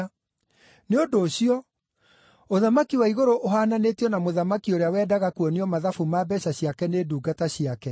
“Nĩ ũndũ ũcio, ũthamaki wa igũrũ ũhaananĩtio na mũthamaki ũrĩa wendaga kuonio mathabu ma mbeeca ciake nĩ ndungata ciake.